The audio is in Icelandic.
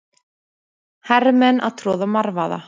Hermenn að troða marvaða.